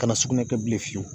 Kana sugunɛ kɛ bilen fiyewu